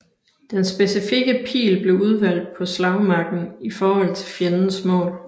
Den specifikke pil blev udvalgt på slagmarken i forhold til fjendens mål